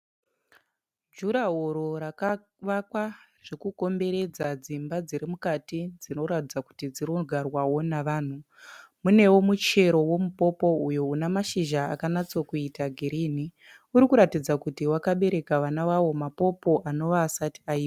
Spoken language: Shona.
Jurahoro rakavakwa zvekukomberedza dzimba dzirimukati dzinoratidza kuti dzinogarwawo navanhu. Munewo muchero womupopo uyo une mashizha akanatso kuita girinhi urikuratidza kuti wakabereka vana vawo mapopo anova asati ai